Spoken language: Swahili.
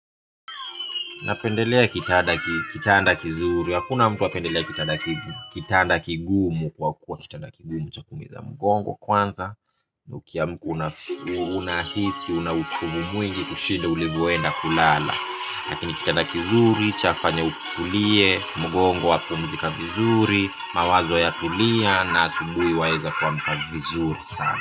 Napendelea kitanda kizuri, hakuna mtu hupendelea kitanda kigumu kwa kuwa kitanda kigumu chakuumiza mgongo kwanza. Na ukiamka unahisi una uchungu mwingi kuliko ulivyokuwa ulipoenda kulala. Lakini kitanda kizuri, chafanya utulie, mgongo hupumzika vizuri, mawazo yatulie na asubuhi waweza kuamka vizuri sana.